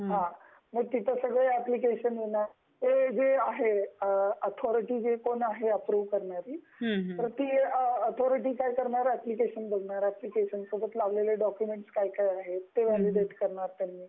हा ,मग तिथे सगळे एप्लिकेशन येणार ते जे आहे ऑथरिटी जे कोण आहे अप्रूव्ह करणारी ती ऑथरिटी काय करणार एप्लिकेशन बघणार एप्लिकेशन सोबत लावलेली डॉक्युमेंट्स काय काय आहे ते अपडेट करणार